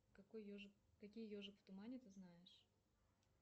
какой еж какие ежик в тумане ты знаешь